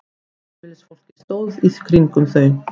Heimilisfólkið stóð í kringum þau.